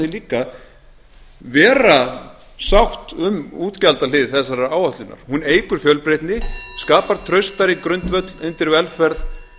líka vera sátt um útgjaldahlið þessarar áætlunar hún eykur fjölbreytni skapar traustari grundvöll undir velferð